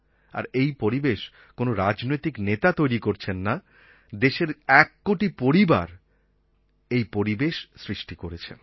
আর এই পরিবেশ কোনো রাজনৈতিক নেতা তৈরি করছেন না দেশের এককোটি পরিবার এই পরিবেশ সৃষ্টি করেছেন